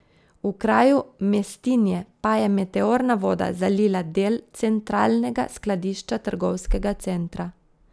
V kraju Mestinje pa je meteorna voda zalila del centralnega skladišča trgovskega centra.